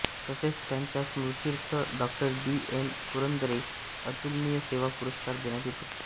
तसेच यांच्या स्मृत्यर्थ डॉ बी एन पुरंदरे अतुलनीय सेवा पुरस्कार देण्यात येतो